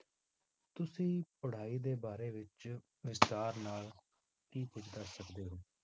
ਤੁਸੀਂ ਪੜ੍ਹਾਈ ਦੇ ਬਾਰੇ ਵਿੱਚ ਵਿਸਥਾਰ ਨਾਲ ਕੀ ਕੁੱਝ ਦੱਸ ਸਕਦੇ ਹੋ?